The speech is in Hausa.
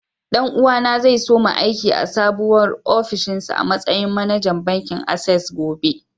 Ɗan uwa na zai soma aiki a sabuwa ofishinsa a matsayin manajan bankin access gobe.